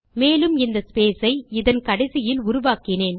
மேலும் இந்த ஸ்பேஸ் ஐ இதன் கடைசியில் உருவாக்கினேன்